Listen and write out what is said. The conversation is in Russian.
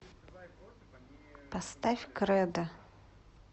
поставь кредо